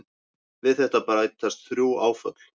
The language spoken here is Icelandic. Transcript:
Við þetta bætist þrjú áföll.